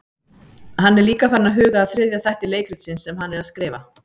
Hann er líka farinn að huga að þriðja þætti leikritsins sem hann er að skrifa.